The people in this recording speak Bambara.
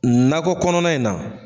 Nakɔ kɔnɔna in na.